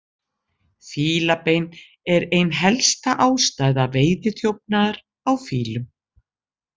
Fílabein er ein helsta ástæða veiðiþjófnaðar á fílum.